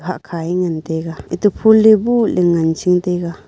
akhaiu ngantaga fulya bo ngan ching taga.